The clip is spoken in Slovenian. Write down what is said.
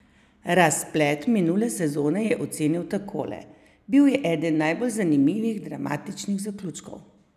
Razplet minule sezone je ocenil takole: "Bil je eden najbolj zanimivih, dramatičnih zaključkov.